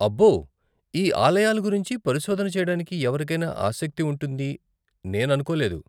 అబ్బో, ఈ ఆలయాలు గురించి పరిశోధన చేయడానికి ఎవరికైనా ఆసక్తి ఉంటుంది నేను అనుకోలేదు.